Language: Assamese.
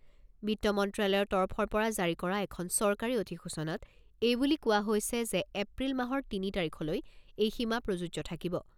বিত্ত মন্ত্ৰালয়ৰ তৰফৰ পৰা জাৰি কৰা এখন চৰকাৰী অধিসূচনাত এই বুলি কোৱা হৈছে যে এপ্ৰিল মাহৰ তিনি তাৰিখলৈ এই সীমা প্ৰযোজ্য থাকিব।